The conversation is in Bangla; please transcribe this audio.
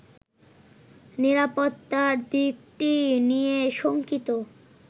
নিরাপত্তার দিকটি নিয়ে শঙ্কিত